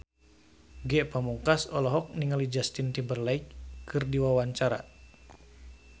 Ge Pamungkas olohok ningali Justin Timberlake keur diwawancara